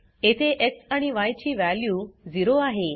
येथे एक्स आणि य ची वॅल्यू 0 आहे